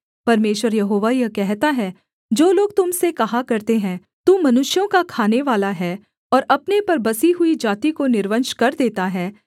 परमेश्वर यहोवा यह कहता है जो लोग तुम से कहा करते हैं तू मनुष्यों का खानेवाला है और अपने पर बसी हुई जाति को निर्वंश कर देता है